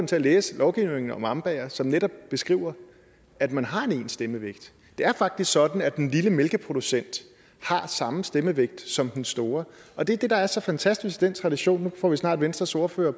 til at læse lovgivningen om ambaer som netop beskriver at man har en ens stemmevægt det er faktisk sådan at den lille mælkeproducent har samme stemmevægt som den store og det er det der er så fantastisk i den tradition nu får vi snart venstres ordfører